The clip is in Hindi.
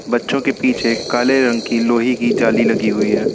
बच्चों के पीछे काले रंग की लोहे की जाली लगी हुई है।